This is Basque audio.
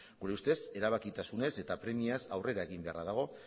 gure ustez erebakitasunez eta premiaz aurrera egin beharra dago